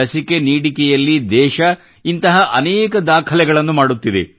ಲಸಿಕಾ ನೀಡಿಕೆಯಲ್ಲಿ ದೇಶವು ಇಂತಹ ಅನೇಕ ದಾಖಲೆಗಳನ್ನು ಮಾಡುತ್ತಿದೆ